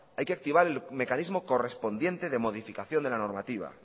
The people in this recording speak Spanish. hay que activar el mecanismo correspondiente de modificación de la normativa